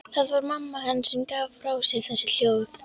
Það var mamma hans sem gaf frá sér þessi hljóð.